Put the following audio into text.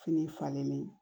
Fini falenlen